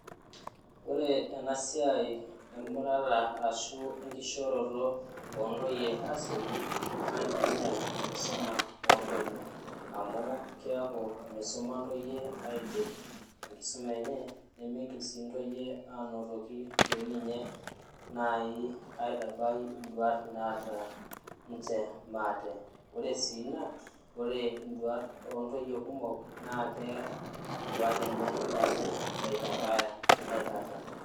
ore enasiai emurata ashu enkishoroto oo intoyie naa kingial enkisuma oo intoyie amu keeku misuma intoyie aidip enkisuma enye, nimigil anotoki doi ninye nai aitabai iduat naata niche maate, ore sii ina ore iduat oo intoyie kumok naa keer iduat enye neeku mitabaya aikata.